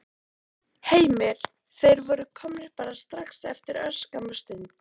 Heimir: Þeir voru komnir bara strax eftir örskamma stund?